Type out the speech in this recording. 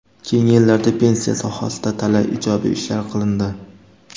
Keyingi yillarda pensiya sohasida talay ijobiy ishlar qilindi.